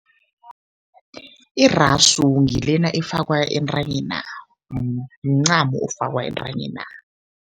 Irasu ngilena efakwa entanyena, mncamo ofakwa entanyena.